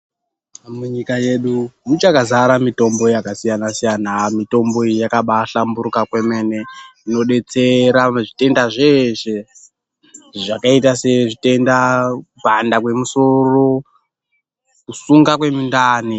Munyika yedu muchakazara mitombo yakasiyana-siyana mitombo iyi yakabahlamburika kwemene inodetsera zvitenda zveshe zvakaita sezvitenda kupanda kwemusoro kusunga kwemundani.